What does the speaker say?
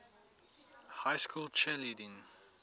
high school cheerleading